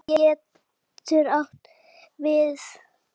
Stig getur átt við